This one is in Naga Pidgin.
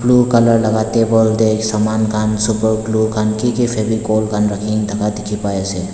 blue colour laga table te saman khan superglue khan kiki fevicol khan rakhina thaka dikhi pai ase.